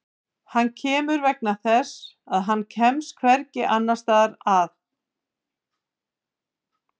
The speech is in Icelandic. Hann kemur vegna þess að hann kemst hvergi annars staðar að.